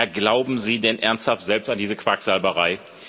Ja glauben Sie denn ernsthaft selbst an diese Quacksalberei?